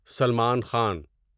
Salman Khan